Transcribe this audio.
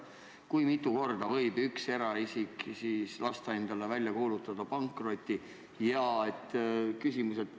Kui mitu korda võib üks eraisik lasta endale välja kuulutada pankroti?